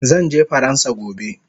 Zanje faransa gobe